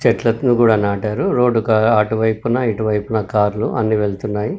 చెట్లను కూడా నాటారు రోడ్ కు అటువైపున ఇటువైపున కార్లు అన్ని వెళ్తున్నాయి.